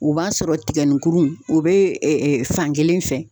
O b'a sɔrɔ tigɛninkuru o be ɛ ɛ fan kelen fɛ